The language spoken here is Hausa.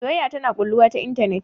Soyayya tana ƙulluwa ta intanet